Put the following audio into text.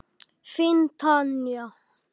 Þín Tanja.